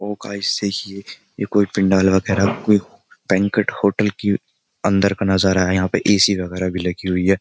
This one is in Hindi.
ओ गाइस देखिये ये कोई पंडाल वगेरा कोई बैंक्वेट होटल की अन्दर का नजारा है यहाँ पे ए.सी. वगेरा भी लगी हुई है।